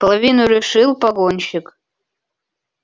половину решил погонщик